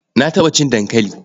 Na taɓa cin dankali.